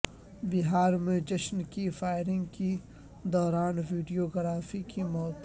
بہار میں جشن کی فائیرنگ کی دوان ویڈیو گرافر کی موت